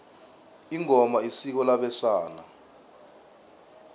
ingoma isiko labesana